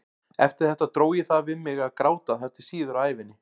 Eftir þetta dró ég það við mig að gráta þar til síðar á ævinni.